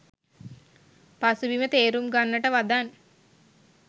පසුබිම තේරුම් ගන්නට වදන්